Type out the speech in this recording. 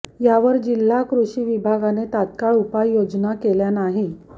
यावर जिल्हा कृषी विभागाने तात्काळ उपायोजना केल्या नाही